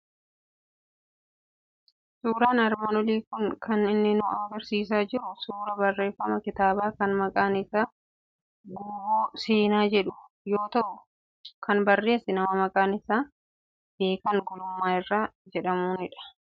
Suuraan armaan olii kun kan inni nu argisiisaa jiru suuraa barreeffama kitaabaa, kan maqaan isaa Guuboo Seenaa jedhu yoo ta'u, kan barreesse nama maqaan isaa Beekan Gulummaa Irranaa Jedhamuuni dha.